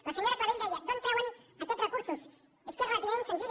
la senyora clavell deia d’on treuen aquests recursos és que és relativament senzill